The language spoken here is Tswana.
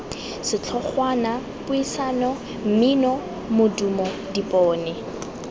setlhogwana puisano mmino modumo dipone